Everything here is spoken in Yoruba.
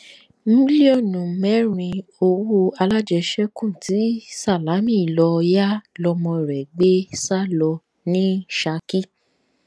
mílíọnù mẹrin owó alájẹṣẹkù tí sálámí lọọ yá lọmọ rẹ gbé sá lọ ní ṣákì